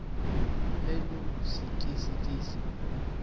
elusikisiki